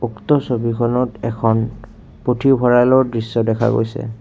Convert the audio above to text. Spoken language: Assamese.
উক্ত ছবিখনত এখন পুথিভঁৰালৰ দৃশ্য দেখা গৈছে।